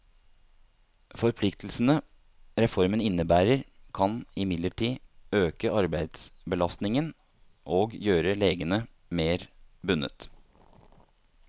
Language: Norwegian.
Forpliktelsene reformen innebærer, kan imidlertid øke arbeidsbelastningen og gjøre legene mer bundet.